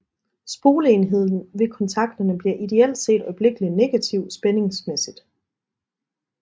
Spoleenden ved kontakterne bliver ideelt set øjeblikkelig negativ spændingsmæssigt